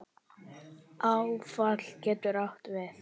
Áfall getur átt við